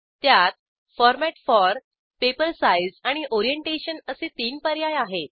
त्यात format for paper size आणि orientation असे तीन पर्याय आहेत